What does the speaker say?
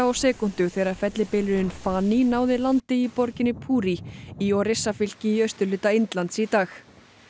á sekúndu þegar fellibylurinn náði landi í borginni í Orissafylki í austurhluta Indlands í dag